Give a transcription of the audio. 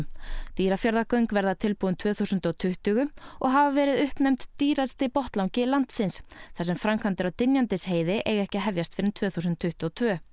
Dýrafjarðargöng verða tilbúin tvö þúsund tuttugu og hafa verið uppnefnd dýrasti botnlangi landsins þar sem framkvæmdir á Dynjandisheiði eiga ekki að hefjast fyrr en tvö þúsund tuttugu og tvö